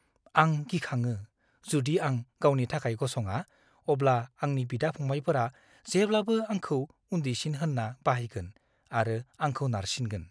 आं गिखाङो! जुदि आं गावनि थाखाय गसङा, अब्ला आंनि बिदा-फंबायफोरा जेब्लाबो आंखौ उन्दैसिन होनना बाहायगोन आरो आंखौ नारसिगोन।